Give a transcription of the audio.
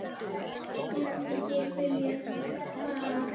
Myndi ég vilja fara?